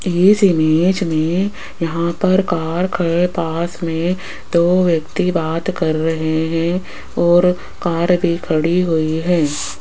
इस इमेज में यहां पर कार के पास में दो व्यक्ति बात कर रहे हैं और कार भी खड़ी हुई है।